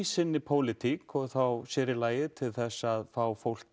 sinni pólítík og þá sér í lagi til að fá fólk